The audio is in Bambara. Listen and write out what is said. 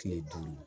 Kile duuru